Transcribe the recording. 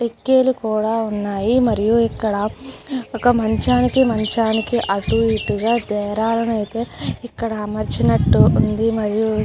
కిటికీలు కూడా వున్నాయ్ మరియు ఇక్కడ ఒక మంచానికి మంచానికి అటు ఇటు గ డేరాలు ఐతే ఇక్కడ అమర్చినట్టు ఉంది మరియు --